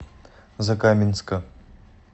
закаменска